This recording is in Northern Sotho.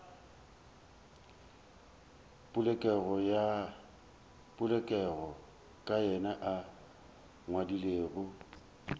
bolelago ka yena a ngwadilego